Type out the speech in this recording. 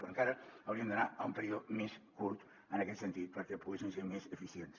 però encara hauríem d’anar a un període més curt en aquest sentit perquè poguéssim ser més eficients